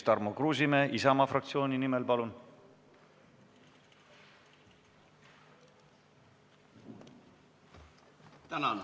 Tarmo Kruusimäe Isamaa fraktsiooni nimel, palun!